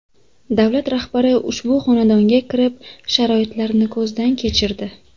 Davlat rahbari ushbu xonadonga kirib, sharoitlarni ko‘zdan kechirdi.